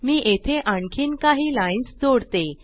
मी येथे आणखीन काही लाइन्स जोडते